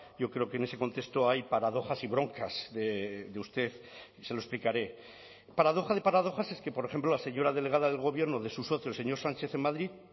yo creo que en ese contexto hay paradojas y broncas de usted y se lo explicaré paradoja de paradojas es que por ejemplo la señora delegada del gobierno de su socio el señor sánchez en madrid